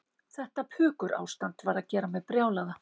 Þetta pukurástand var að gera mig brjálaða.